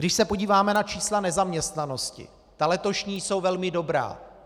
Když se podíváme na čísla nezaměstnanosti, ta letošní jsou velmi dobrá.